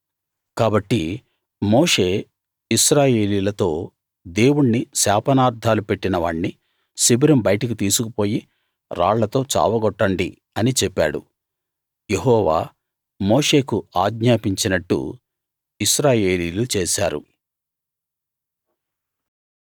కాబట్టి మోషే ఇశ్రాయేలీయులతో దేవుణ్ణి శాపనార్థాలు పెట్టిన వాణ్ణి శిబిరం బయటికి తీసుకుపోయి రాళ్లతో చావగొట్టండి అని చెప్పాడు యెహోవా మోషేకు ఆజ్ఞాపించినట్టు ఇశ్రాయేలీయులు చేశారు